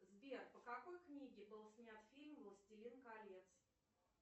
сбер по какой книге был снят фильм властелин колец